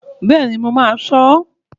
Bẹ́ẹ̀ni, mo má a sọ